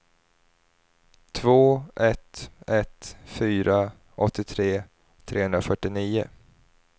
två ett ett fyra åttiotre trehundrafyrtionio